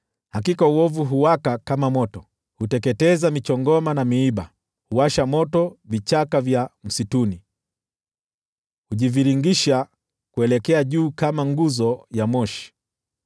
Hakika uovu huwaka kama moto; huteketeza michongoma na miiba, huwasha moto vichaka vya msituni, hujiviringisha kuelekea juu kama nguzo ya moshi.